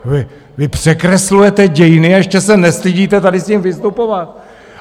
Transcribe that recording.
Vy překreslujete dějiny, a ještě se nestydíte tady s tím vystupovat!